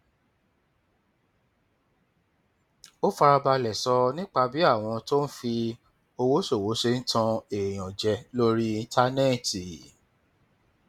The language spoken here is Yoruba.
ó fara balẹ sọ nípa bí àwọn tó ń fi owó ṣòwò ṣe ń tan èèyàn jẹ lórí íńtánẹẹtì